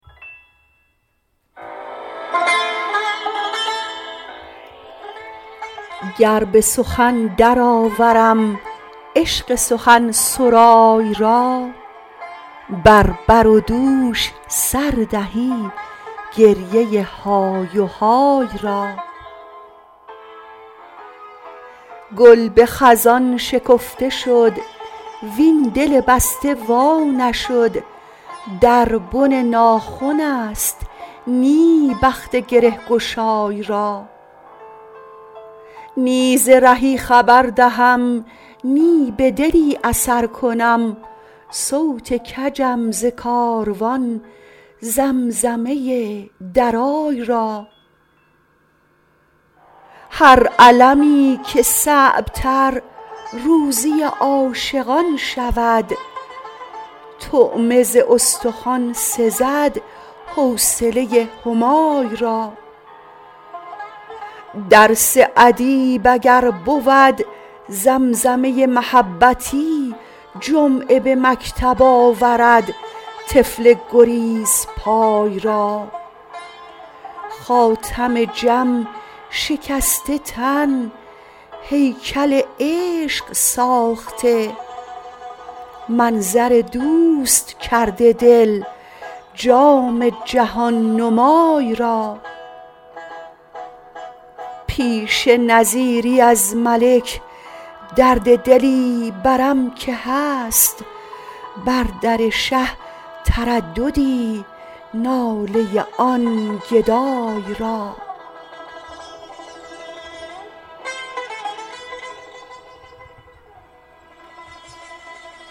گر به سخن درآورم عشق سخنسرای را بر بر و دوش سر دهی گریه های و های را گل به خزان شکفته شد وین دل بسته وا نشد در بن ناخن است نی بخت گره گشای را نی ز رهی خبر دهم نی به دلی اثر کنم صوت کجم ز کاروان زمزمه درای را هر المی که صعب تر روزی عاشقان شود طعمه ز استخوان سزد حوصله همای را درس ادیب اگر بود زمزمه محبتی جمعه به مکتب آورد طفل گریزپای را خاتم جم شکسته تن هیکل عشق ساخته منظر دوست کرده دل جام جهان نمای را پیش نظیری از ملک درد دلی برم که هست بر در شه ترددی ناله آن گدای را